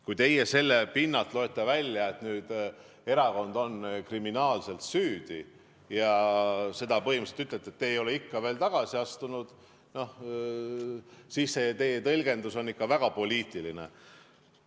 Kui teie selle pinnalt loete välja, et erakond on kriminaalasjas süüdi, ja põhimõtteliselt ütlete, miks te ei ole ikka veel tagasi astunud, siis see teie tõlgendus on ikka väga poliitiline.